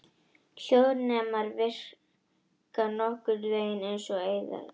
Hljóðnemar virka nokkurn vegin eins og eyrað.